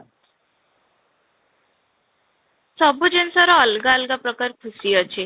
ସବୁ ଜିନିଷର ଅଲଗା ଅଲଗା ପ୍ରକାର ଖୁସି ଅଛି